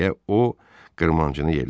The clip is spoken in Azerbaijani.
deyə o qırmancını yellədi.